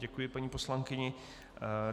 Děkuji paní poslankyni.